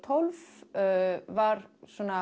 tólf var